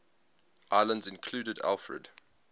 islands included alfred